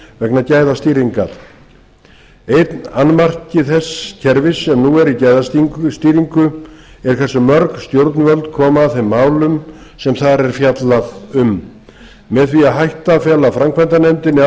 vegna gæðastýringar einn annmarki þess kerfis sem nú er í gæðastýringu er hversu mörg stjórnvöld koma að þeim málum sem þar er fjallað um með því að hætta að fela framkvæmdanefndinni